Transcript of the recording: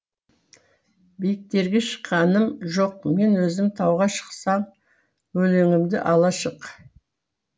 биіктерге шыққаным жоқ мен өзім тауға шықсаң өлеңімді ала шық